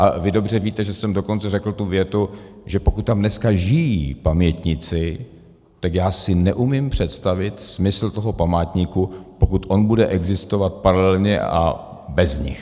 A vy dobře víte, že jsem dokonce řekl tu větu, že pokud tam dneska žijí pamětníci, tak já si neumím představit smysl toho památníku, pokud on bude existovat paralelně a bez nich.